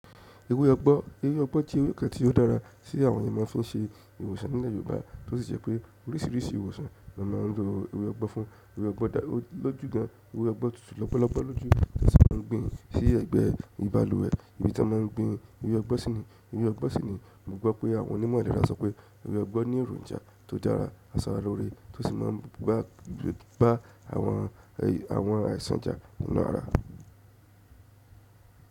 Ewé ọgbọ́, ewé ọgbọ́n jẹ́ ewé kan tí ó dára sí àwọn ènìyàn máa fún un se ìwòsàn nílẹ̀ Yorùbá tó sì jẹ́ pé oríṣiríṣi ìwòsàn ni wọ́n máa ń lo ewé ọgbọ́ fún. Ewé ọgbọ́n dá ọ lọ́jù gan, ewé ọgbọ́ tutù lọ́pọ́lọpọ́ lójú tí wọ́n gbìn ín sí ẹ̀gbẹ́ ìbàlúwẹ̀. Èyí tí wọ́n máa ń gbìn ewé ọgbọ́n síni, ewé ọgbọ́n síni, mo gbọ́ pé àwọn onímọ̀ ìlera sọ pé ewé ọgbọ́ ní èròǹjà tó dára, aṣaralóore tó sì máa ń gba, gba àwọn àwọn àìsàn jà lára.